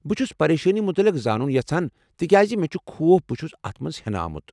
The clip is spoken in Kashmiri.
بہٕ چُھس پَریشٲنی متعلق زانُن یژھان تکیٚازِ مےٚ چُھ خوف بہٕ چھُس اتھ مَنٛز ہٮ۪نہٕ آمُت ۔